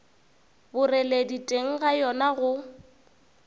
boreledi teng ga yona go